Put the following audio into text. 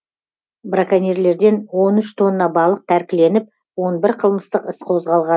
браконьерлерден он үш тонна балық тәркіленіп он бір қылмыстық іс қозғалған